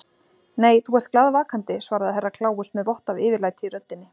Nei, þú ert glaðvakandi, svaraði Herra Kláus með vott af yfirlæti í röddinni.